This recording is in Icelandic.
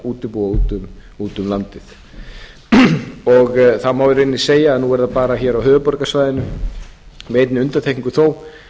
til útibúa út um landið það má í rauninni segja að nú er það bara á höfuðborgarsvæðinu með einni undantekningu þó